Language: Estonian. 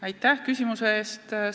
Aitäh küsimuse eest!